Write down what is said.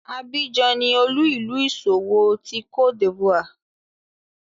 Abidjan ni olu-ilu iṣowo ti Côte d'Ivoire.